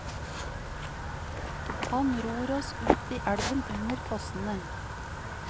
Han ror oss ut i elven under fossene.